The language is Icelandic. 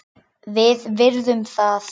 Við virðum það.